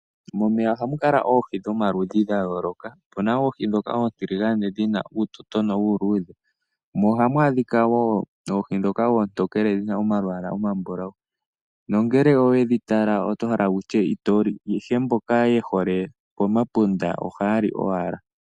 Momeya ohamu kala oohi dhomaludhi gayooloka . Otuna oohi ndhoka oontiligane dhina uutotono uuluudhe. Mo ohamu adhika wo oohi ndhoka oontekele dhina omalwaala oma mbulau nongele owedhi tala oto hala wutye itoli, ihe mboka yehole pomapunda ohaya li owala.